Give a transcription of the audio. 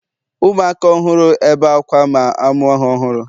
ụmụaka ọhụrụ ebe akwa ma amụ ha ọhụrụ